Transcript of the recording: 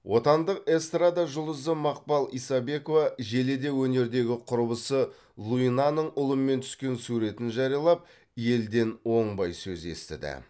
отандық эстрада жұлдызы мақпал исабекова желіде өнердегі құрбысы луинаның ұлымен түскен суретін жариялап елден оңбай сөз естіді